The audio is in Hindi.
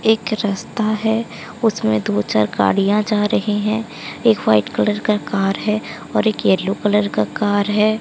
एक रस्ता है उसमें दो चार गाड़ियां जा रही हैं एक व्हाइट कलर का कार है और एक येलो कलर का कार है।